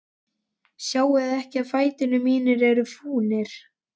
Sjáiði ekki að fætur mínir eru fúnir?